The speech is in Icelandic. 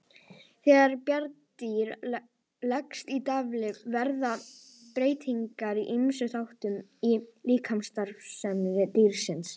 Þegar bjarndýr leggst í dvala verða breytingar á ýmsum þáttum í líkamsstarfsemi dýrsins.